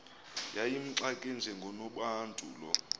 yayimxake njengonobantu lo